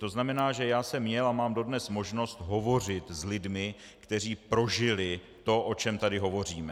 To znamená, že já jsem měl a mám dodnes možnost hovořit s lidmi, kteří prožili to, o čem tady hovoříme.